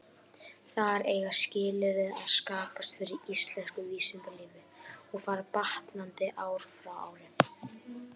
Þar eiga skilyrði að skapast fyrir íslensku vísindalífi, og fara batnandi ár frá ári.